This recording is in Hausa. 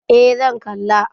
Eh zan kalla.